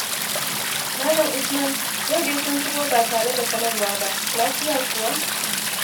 Malam Usman, yau dai kun shigo ba tare da sanarwa ba, lafiya kuwa?